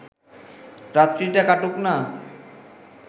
রাত্রিটা কাটুক না